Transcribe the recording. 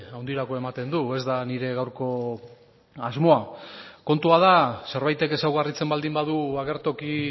handirako ematen du ez da nire gaurko asmoa kontua da zerbaitek ezaugarritzen baldin badu agertoki